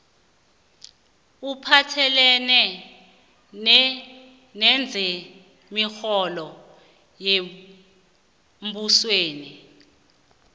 ophathelene nezemirholo yembusweni